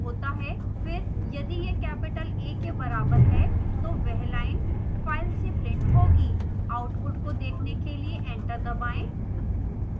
फिर यदि यह capital a के बराबर है तो वह line file से printed होगी आउटपुट को देखने के लिए एंटर दबाएं